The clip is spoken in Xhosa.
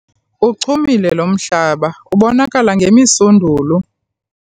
Uchumile lo mhlaba ubonakala ngemisundulo.